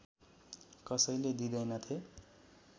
कसैले दिँदैनथे